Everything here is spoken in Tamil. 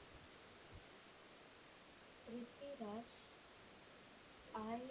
ப்ரித்விராஜ் ஆயிரத்தி